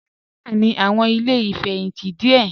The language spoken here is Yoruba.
Nàìjíríà ní àwọn ilé ìfẹ̀yìntì díẹ̀